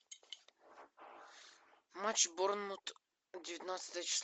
матч борнмут девятнадцатое число